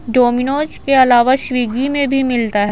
Domino's के अलावा स्विगी में भी मिलता है।